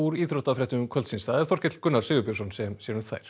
íþróttafréttum kvöldsins það er Þorkell Gunnar Sigurbjörnsson sem sér um þær